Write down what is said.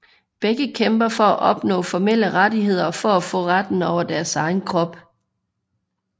Begge kæmper for at opnå formelle rettigheder og for at få retten over deres egen krop